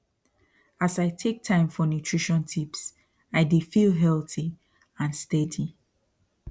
as i take time for nutrition tips i dey feel healthy and steady